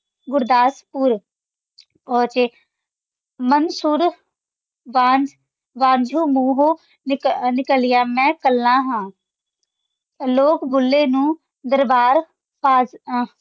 ਗੁਰਦਸਪੂਰ ਵਿਚ ਮੰਸੂਰ ਵੰਝ ਵੰਝੁ ਮੂਹੂੰ ਨਿਕ੍ਲ੍ਯਾ ਮੈਂ ਕਲਾ ਹਾਂ ਲੋਗ ਭੁੱਲੇ ਨੂ ਦਰਬਾਰ ਖਾਂ ਆਂ